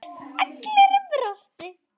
Allir brostu.